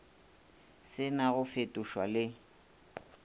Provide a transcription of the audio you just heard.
se na go fetošwa le